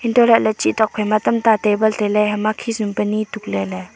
untoh lahley chih tokphai ma tamta table tailey hama khisum pa nie tuk leley.